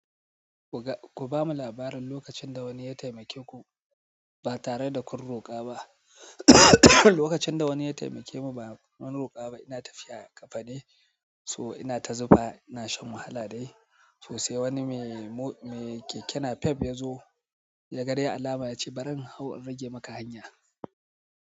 Ku bamu labarin lokacin da wani ya taimake ku ba tare da kun roƙa ba. Lokacin da wani ya taimake mu ba mun roƙa ba, ina tafiya ƙafa ne, so ina ta zufa ina shan wahala dai. So, sai wani mai mo- keke napep ya zo, yaga dai alama yace "bari in hau in rage maka hanya."